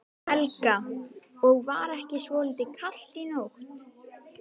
Helga: Og var ekki svolítið kalt í nótt?